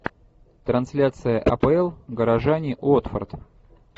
трансляция апл горожане уотфорд